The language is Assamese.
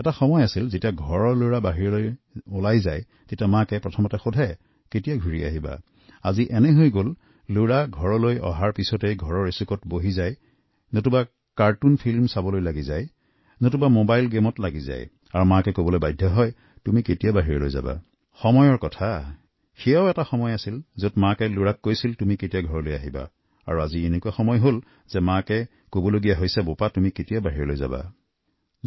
এটা সময় আছিল যেতিয়া পৰিয়ালৰ কনমানিটো বাহিৰলৈ গলে মায়ে সকলোকে সুধিছিল যে তুমি কত যাবা আজি অৱস্থা এনে পৰ্যায় পাইছেগৈ যে সন্তানে ঘৰৰ এটা কোণত হয় কাৰ্টুন চাবলৈ ধৰে নহলে মোবাইল গেমত মচগুল হৈ পৰে আৰু তেতিয়া মাকে চিঞঁৰি কয় তই কেতিয়া বাহিৰে যাবি সময় সলনি হল এটা যুগ আছিল যেতিয়া মাকে সন্তানক কৈছিল যে তই কেতিয়া আহিবি আৰু আজি এনে অৱস্থা হৈছে যে মাকে কয় বাবা তই কেতিয়া বাহিৰলৈ যাবি